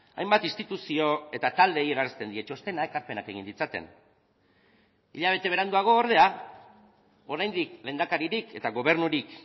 hainbat instituzio eta taldeei eransten die txostena ekarpenak egin ditzaten hilabete beranduago ordea oraindik lehendakaririk eta gobernurik